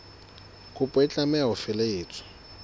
kopo e tlameha ho felehetswa